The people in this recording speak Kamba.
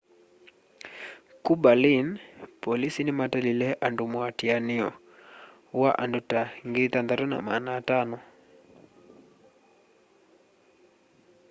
ku berlin polisi nimatalile andu muatianio wa andu ta 6,500